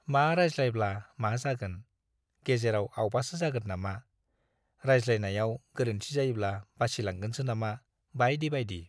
मा रायज्लायब्ला मा जागोन, गेजेराव आवबासो जागोन नामा, रायज्लायनायाव गोरोन्थि जायोब्ला बासिलांगोनसो नामा, बाइदि बाइदि।